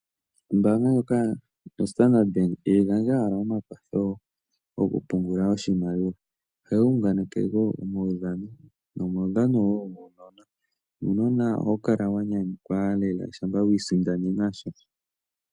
Ombaanga ndjoka yostandard Bank ihayi gandja owala omakwatho gokupungula oshimaliwa, ohayi unganeke wo omaudhano nomaudhano wo guunona. Nuunona ohawu kala wa nyanyukwa lela shampa wi isindanena sha.